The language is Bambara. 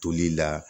Toli la